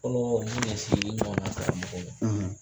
Kɔlɔ mu ye sigi ɲɔgɔn na karamɔgɔ ma